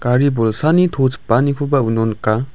gari bolsani to chipanikoba uno nika.